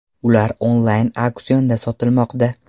Ular onlayn auksionda sotilmoqda.